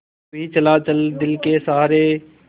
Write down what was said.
यूँ ही चला चल दिल के सहारे